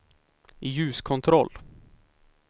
ljuskontroll